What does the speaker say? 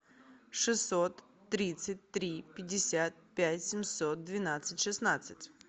шестьсот тридцать три пятьдесят пять семьсот двенадцать шестнадцать